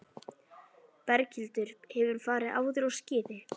Berghildur: Hefurðu farið áður á skíði?